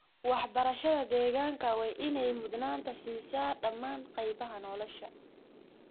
Waxbarashada deegaanka waa in ay mudnaanta siisaa dhammaan qaybaha nolosha.